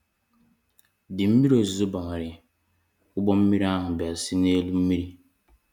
Dịi mmiri ozizo bawanyere, ụgbọ mmiri ahụ bịa see n'elu mmiri.